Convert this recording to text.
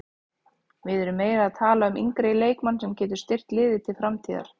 Við erum meira að tala um yngri leikmann sem getur styrkt liðið til framtíðar.